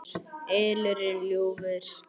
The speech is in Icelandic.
ylurinn ljúfi.